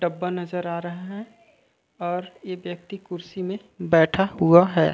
डब्बा नज़र आ रहा है और ए व्यक्ति कुर्सी में बैठा हुआ है।